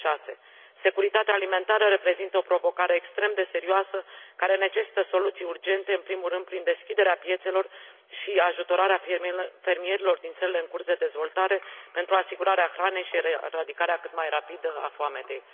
2006. Securitatea alimentară reprezintă o provocare extrem de serioasă care necesită soluții urgent, în primul rând prin deschiderea piețelor și ajutorarea fermierilor din țările în curs de dezvoltare pentru asigurarea hranei și eradicare cât mai rapidă a foametei.